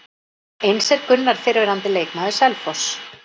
Eins er Gunnar fyrrverandi leikmaður Selfoss.